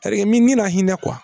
nin na hinɛ